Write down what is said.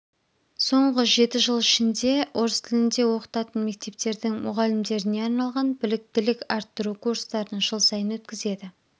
соңғы жеті жыл ішінде орыс тілінде оқытатын мектептердің мұғалімдеріне арналған біліктілік арттыру курстарын жыл сайын өткізеді